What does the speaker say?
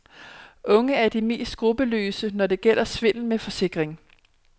Unge er de mest skrupelløse, når det gælder svindel med forsikringen.